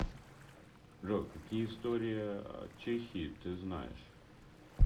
джой какие история чехии ты знаешь